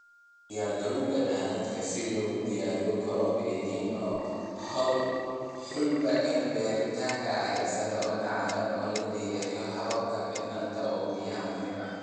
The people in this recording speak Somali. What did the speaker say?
U diyaargarowga daadadka Si loogu diyaar garoobo El Niño, hubi in beertaada ay sare u kacday oo ay leedahay habab fiican oo biyo-mareen ah.